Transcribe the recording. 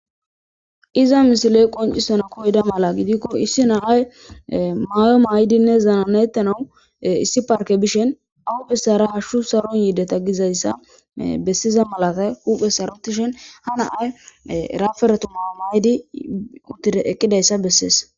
Iza misiley qoncisana koyda mala gidikko issi nahay mayo mayidinne zananettanau issi parke bishen awu phissara hashshu saron yiideta gizayssa bessiza malata huphe sarotishen ha naay raferetu mayo maydi utir eqqidayssa bessees.